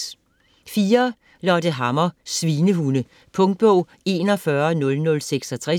Hammer, Lotte: Svinehunde Punktbog 410066